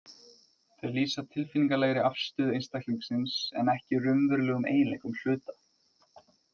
Þeir lýsa tilfinningalegri afstöðu einstaklingsins en ekki raunverulegum eiginleikum hluta.